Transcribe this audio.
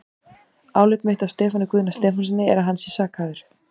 Álit mitt á Stefáni Guðna Stefánssyni er, að hann sé sakhæfur.